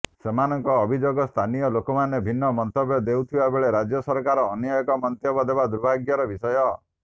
ସେମାନଙ୍କ ଅଭିଯୋଗ ସ୍ଥାନୀୟ ଲୋକମାନେ ଭିନ୍ନ ମନ୍ତବ୍ୟ ଦେଉଥିବାବେଳେ ରାଜ୍ୟ ସରକାର ଅନ୍ୟ ଏକ ମନ୍ତବ୍ୟ ଦେବା ଦୁର୍ଭାଗ୍ୟର ବିଷୟ